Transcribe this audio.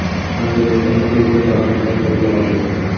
Angrenda aka-uka talonchilar qo‘lga olindi.